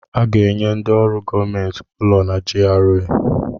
Aga-enye ndị ọrụ gọọmentị ụlọ na GRA